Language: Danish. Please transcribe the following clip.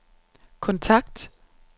kontakt